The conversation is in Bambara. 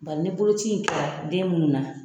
Bari ni bolokoci den mun na.